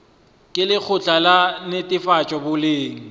ke lekgotla la netefatšo boleng